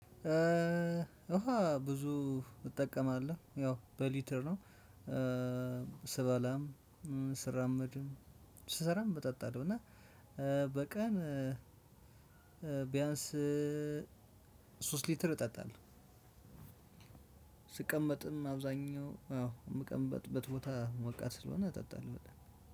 ውሃ ብዙ እጠቀማለሁ። ያው በሊትር ነው ስበላም ስራመድም ስሰራም እጠጣለሁ እና- በቀን ቢያንስ ሶስት ሊትር እጠጣለሁ። ስቀመጥም አብዛኛው አዎ የምቀመጥበት ቦታ ሞቃት ስለሆነ እጠጣለሁ። በቃ-